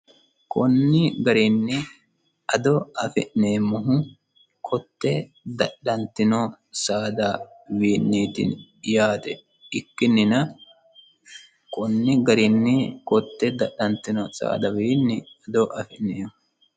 KOnni garinn addo afineemohu kotte dadhantino saadawiiniti yaate ikinina konni garini kotte dadhantino saadawiini addo ainfeemo